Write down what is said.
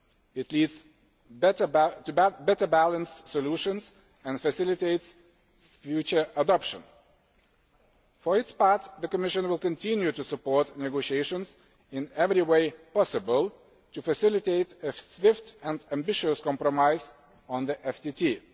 It leads to better balanced solutions and facilitates future adoption. For its part, the Commission will continue to support negotiations in every way possible, to facilitate a swift and ambitious compromise on the